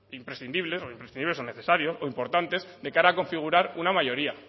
imprescindibles o imprescindibles o necesarios o importantes de cara a configurar una mayoría